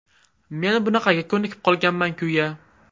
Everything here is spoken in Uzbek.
Men bunaqaga ko‘nikib qolganman-kuya.